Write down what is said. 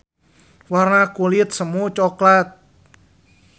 Warna kulit semu coklat.